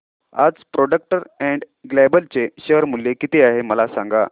आज Procter and Gamble चे share मूल्य किती आहे मला सांगा